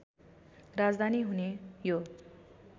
राजधानी हुने यो